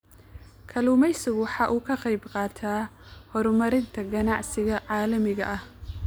Kalluumaysigu waxa uu ka qayb qaataa horumarinta ganacsiga caalamiga ah.